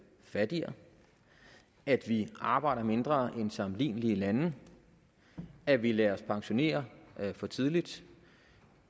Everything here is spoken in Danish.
fattigere at vi arbejder mindre end sammenlignelige lande at vi lader os pensionere for tidligt og